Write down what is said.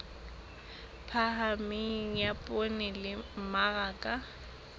phahameng ya poone le mmaraka